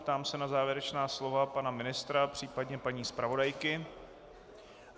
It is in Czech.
Ptám se na závěrečná slova pana ministra, případně paní zpravodajky.